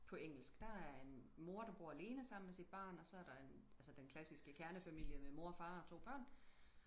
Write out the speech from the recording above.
på engelsk der er en mor der bor alene sammen med sit barn og så er der den altså den klassiske kernefamile med mor og far og to børn